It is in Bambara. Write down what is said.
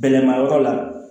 Bɛlɛmayɔrɔ la